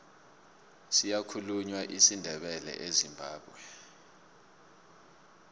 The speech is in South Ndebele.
siyakhulunywa isindebele ezimbabwe